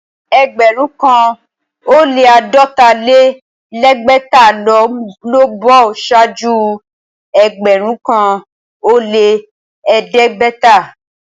Ẹgbẹ̀rún kàn ó lẹ́ àádọ́ta-lé-lẹ́gbẹ̀ta ló ń bọ̀ ṣáájú ẹgbẹ̀rún kàn ó lẹ́ ẹ̀ẹ́dẹ́gbẹ̀ta.